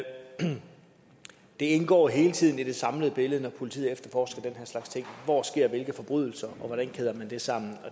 det indgår hele tiden i det samlede billede når politiet efterforsker den her slags ting hvor sker hvilke forbrydelser og hvordan kæder man det sammen